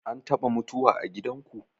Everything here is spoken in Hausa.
An taɓa mutuwa a gidanku?